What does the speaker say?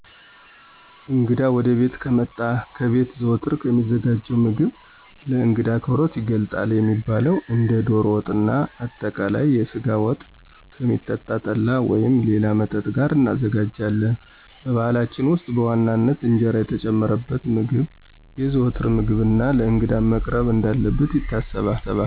እንግዳ ወደቤት ከመጣ ከቤት ዘወትር ከሚዘጋጀው ምግብ ለእንግዳ አክብሮት ይገልጣል የሚባለውን እንደ ዶሮ ወጥና አጠቃለይ የስጋ ወጥ፣ ከሚጠጣ ጠላ ወይም ሌላ መጠጥ ጋር እናዘጋጃለን። በባህላችን ውስጥ በዋናነት እንጀራ የተጨመረበት ምግብ የዘዎትር ምግብና ለእንግዳም መቅረብ እንዳለበት ይታሰባል።